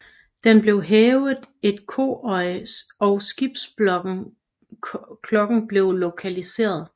Der blev hævet et koøje og skibsklokken blev lokaliseret